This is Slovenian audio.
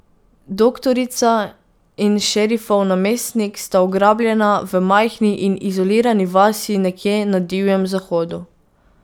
Doktorica in šerifov namestnik sta ugrabljena v majhni in izolirani vasi nekje na Divjem zahodu.